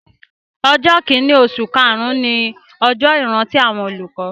Ọjọ́ kìíní oṣù karùn-ún ni ọjọ́ ìrántí àwọn olùkọ́